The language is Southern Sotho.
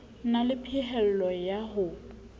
na le phehello ya ho